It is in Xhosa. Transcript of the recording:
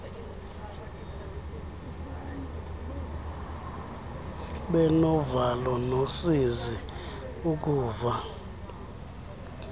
benovalo nosizi ukuva